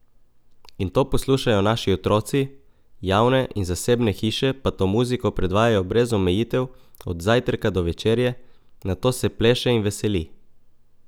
In to poslušajo naši otroci, javne in zasebne hiše pa to muziko predvajajo brez omejitev od zajtrka do večerje, na to se pleše in veseli.